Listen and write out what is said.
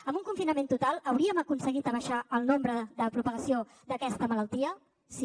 amb un confinament total hauríem aconseguit abaixar el nombre de propagació d’aquesta malaltia sí